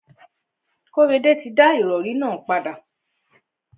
Kóredé ti da ìrọrí nà padà.